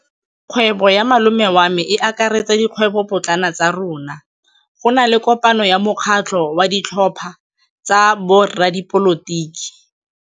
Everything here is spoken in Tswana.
Kgwêbô ya malome wa me e akaretsa dikgwêbôpotlana tsa rona. Go na le kopanô ya mokgatlhô wa ditlhopha tsa boradipolotiki.